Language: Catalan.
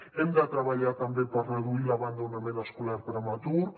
hem de treballar també per reduir l’abandonament escolar prematur